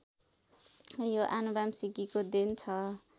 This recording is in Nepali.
यो आनुवंशिकीको देन छ